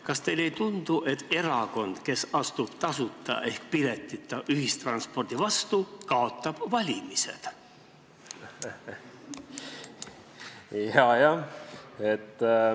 Kas teile ei tundu, et erakond, kes astub tasuta ehk piletita ühistranspordi vastu, kaotab valimised?